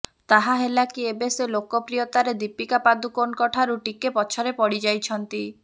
ତାହା ହେଲାକି ଏବେ ସେ ଲୋକପ୍ରିୟତାରେ ଦୀପିକା ପାଦୁକୋନ୍ଙ୍କଠାରୁ ଟିକେ ପଛରେ ପଡ଼ିଯାଇଛନ୍ତି